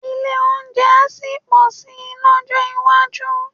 Ilé-oúnjẹ á sì pọ̀ si lọ́jọ́ iwájú